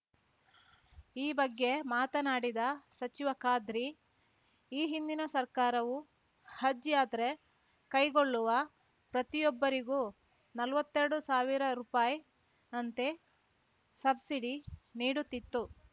ಈ ಬಗ್ಗೆ ಮಾತನಾಡಿದ ಸಚಿವ ಖಾದ್ರಿ ಈ ಹಿಂದಿನ ಸರ್ಕಾರವು ಹಜ್‌ ಯಾತ್ರೆ ಕೈಗೊಳ್ಳುವ ಪ್ರತಿಯೊಬ್ಬರಿಗೂ ನಲ್ವತ್ತೆರಡು ಸಾವಿರ ರುಪಾಯಿನಂತೆ ಸಬ್ಸಿಡಿ ನೀಡುತ್ತಿತ್ತು